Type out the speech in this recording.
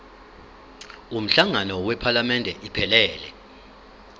umhlangano wephalamende iphelele